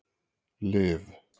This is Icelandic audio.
Liv